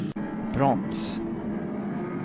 broms